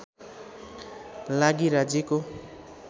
लागि राज्यको